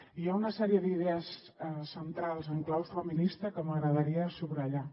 i hi ha una sèrie d’idees centrals en clau feminista que m’agradaria subratllar